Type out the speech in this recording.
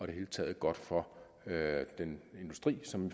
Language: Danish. det hele taget godt for den industri som